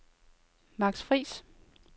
Max Friis